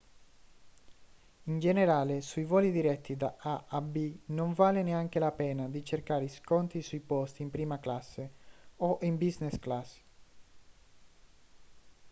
in generale sui voli diretti da a a b non vale neanche la pena di cercare sconti sui posti in prima classe o in business class